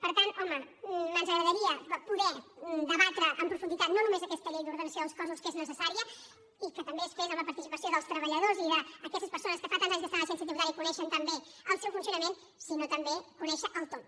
per tant home ens agradaria poder debatre en profunditat no només aquesta llei d’ordenació dels cossos que és necessària i que també es fes amb la participació dels treballadors i d’aquestes persones que fa tants anys que estan a l’agència tributària i que coneixen tan bé el seu funcionament sinó també conèixer el tot